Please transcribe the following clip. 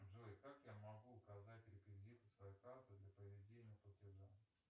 джой как я могу указать реквизиты своей карты для проведения платежа